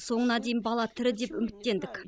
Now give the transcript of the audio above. соңына дейін бала тірі деп үміттендік